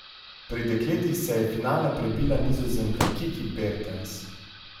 Pri dekletih se je v finale prebila Nizozemka Kiki Bertens.